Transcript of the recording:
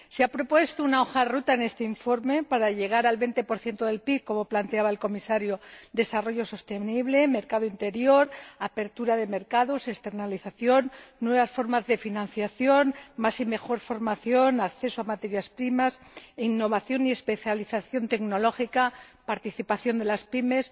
Se ha propuesto una hoja de ruta en este informe para llegar al 20 del PIB, como planteaba el Comisario desarrollo sostenible, mercado interior, apertura de mercados, externalización, nuevas formas de financiación, más y mejor formación, acceso a materias primas, innovación y especialización tecnológica, participación de las PYME